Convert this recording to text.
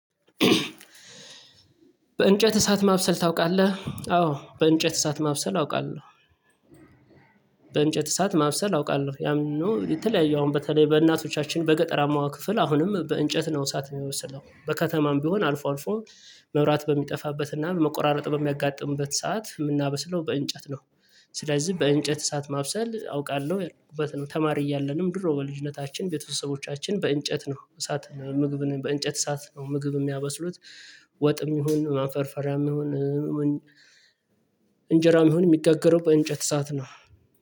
በእንጨት እሳት ማብሰል ታውቃለህ? አዎ በእንጨት እሳት ማብሰል አውቃለሁ። በእንጨት እሳት ማብሰል አውቃለሁ። ያም የተለያየ አሁን በተለይ በእናቶቻችን በገጠራማዋ ክፍል አሁንም በእንጨት ነው እሳት የሚበስለው። በከተማም ቢሆን አልፎ አልፎ መብራት በሚጠፋበት እና በመቆራረጥ በሚያጋጥምበት ሰዓት የምናበስለው በእንጨት ነው። ስለዚህ በእንጨት እሳት ማብሰል አውቃለሁ። ተማሪ እያለንም ድሮ በልጅነታችን ቤተሰቦቻችን በእንጨት ነው እሳት ነው ምግብን በእንጨት እሳት ነው ምግብ የሚያበስሉት። ወጥም ይሁን ማፈርፈሪያም ይሁን እንጀራም ይሁን የሚጋገረው በእንጨት እሳት ነው።